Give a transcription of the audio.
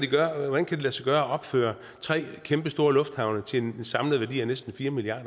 lade sig gøre at opføre tre kæmpestore lufthavne til en samlet værdi af næsten fire milliard